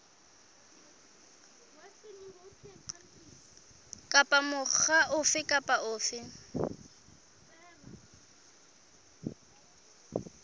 kapa mokga ofe kapa ofe